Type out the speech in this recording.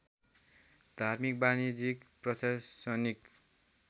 धार्मिक वाणिज्यिक प्रशासनिक